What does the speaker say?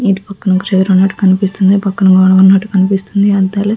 ఇటు పక్కనే చేరున్నట్టు కనిపిస్తుంది అటు పక్కన గోడ ఉన్నట్టు కనిపిస్తుంది. అద్దలు --